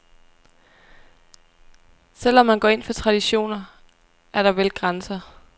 Selv om man går ind for traditioner, er der vel grænser.